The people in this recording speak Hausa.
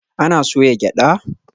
Ana soya gyada?